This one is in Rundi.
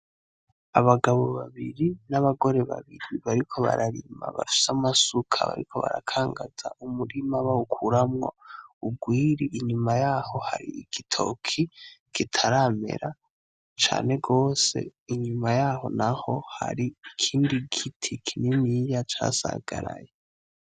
Abagabo babiri nabagore babiri bariko bararima bafise amasuka bariko barakangaza umurima bawukuramwo urwiri inyuma yaho harimwo igitoke kitaramera cane gose inyuma yaho harigiti kinini ya cane casasagaye.